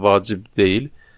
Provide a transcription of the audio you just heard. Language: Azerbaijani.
Yəni bu bir vacib deyil.